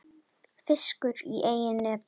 Fiskur í eigin neti.